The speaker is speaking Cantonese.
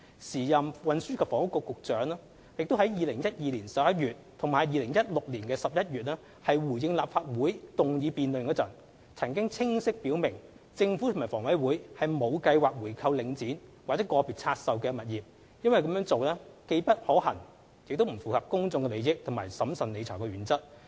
時任運輸及房屋局局長於2012年11月及2016年11月的立法會議案辯論中回應時，曾清晰表明政府及房委會沒有計劃回購領展或個別拆售物業，因為這做法既不可行亦不符合公眾利益和審慎理財的原則。